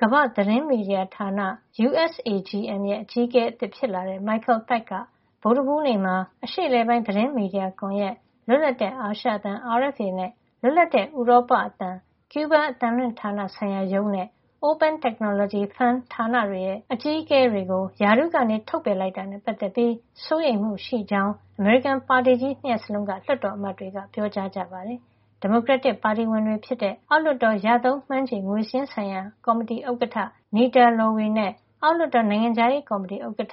ကမ္ဘာ့သတင်းမီဒီယာ ဌာန U.S. Agency for Global Media (USAGM) ရဲ့ အကြီးအကဲ အသစ်ဖြစ်လာတဲ့ Michael Pack က ဗုဒ္ဓဟူးနေ့မှာ အရှေ့အလယ်ပိုင်းသတင်းမီဒီယာကွန်ရက်၊ လွတ်လပ်တဲ့ အာရှအသံ (RFA) နဲ့ လွတ်လပ်တဲ့ ဥရောပအသံ (RFE/Free Liberty)၊ ကျူးဘားအသံလွှင့်ဌာနဆိုင်ရာရုံးနဲ Open Technology Fund ဌာနတွေရဲ့ အကြီးအကဲတွေကို ရာထူးကနေ ထုတ်ပယ်လိုက်တာ နဲ့ပတ်သက်ပြီး စိုးရိမ်မှုရှိကြောင်း အမေရိကန် ပါတီကြီး ၂ ရပ်စလုံးက လွှတ်တော်အမတ်တွေက ပြောကြပါတယ်။ ဒီမိုကရက်တစ်ပါတီဝင်တွေ ဖြစ်တဲ့ အောက်လွှတ်တော် ရသုံးမှန်းခြေငွေစာရင်းဆိုင်ရာ ကော်မတီဥက္ကဌ Nita Lowey နဲ့ အောက်လွှတ်တော် နိုင်ငံခြားရေးကော်မတီဥက္ကဌ